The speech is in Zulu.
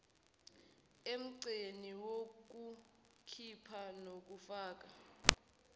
emgqeni wokukhipha nokufaka